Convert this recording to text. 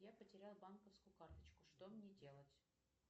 я потеряла банковскую карточку что мне делать